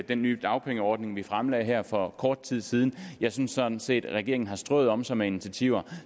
den nye dagpengeordning vi fremlagde her for kort tid siden jeg synes sådan set at regeringen har strøet om sig med initiativer